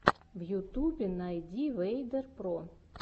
в ютубе найди вэйдер про